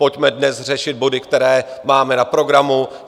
Pojďme dnes řešit body, které máme na programu.